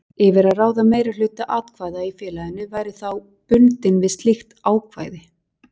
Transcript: yfir að ráða meirihluta atkvæða í félaginu væri þá bundinn við slíkt ákvæði.